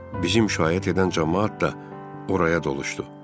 Bizi müşayiət edən camaat da oraya doluşdu.